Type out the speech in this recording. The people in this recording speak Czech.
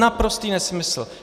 Naprostý nesmysl.